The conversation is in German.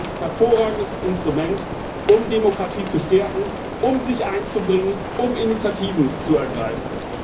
Sie ist ein hervorragendes Instrument, um Demokratie zu stärken, um sich einzubringen, um Initiativen zu ergreifen.